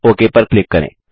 okay पर click करें